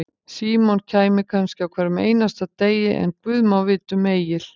Símon kæmi kannski á hverjum einasta degi, en guð má vita um Egil.